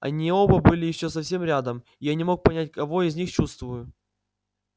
они оба были ещё совсем рядом и я не мог понять кого из них чувствую